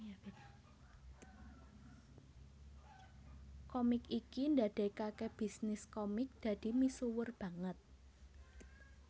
Komik iki ndadekake bisnis komik dadi misuwur banget